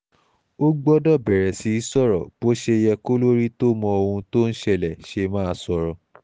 ó gbọ́dọ̀ bẹ̀rẹ̀ sí í sọ̀rọ̀ bó ṣe yẹ kólórí tó mọ ohun tó ń ṣẹlẹ̀ ṣe máa sọ̀rọ̀